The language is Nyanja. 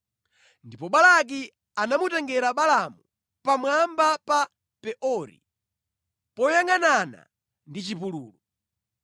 Ndipo Balaki anamutengera Balaamu pamwamba pa Peori, poyangʼanana ndi chipululu.